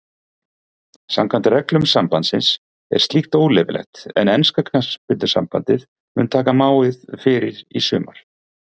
Samkvæmt reglum sambandsins er slíkt óleyfilegt en enska knattspyrnusambandið mun taka máið fyrir í sumar.